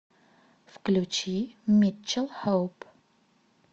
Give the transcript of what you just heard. включи митчел хоуп